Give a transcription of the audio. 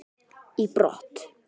í brott.